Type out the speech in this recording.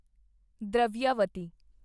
Dravyavati